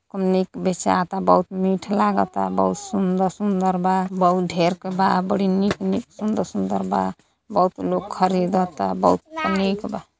खूब निक बेचाता बहुत मीठ लागता बहुत सुंदर-सुंदर बा बहुत ढेर क बा बड़ी निक-निक सुंदर-सुंदर बा। बहुत लोग खरीदता बहुत निक बा।